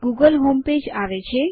Google home page આવે છે